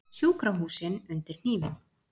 Sjúkrahúsin undir hnífinn